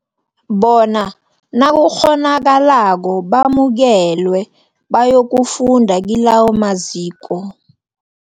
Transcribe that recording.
bona nakukghonakalako bamukelwe bayokufunda kilawo maziko.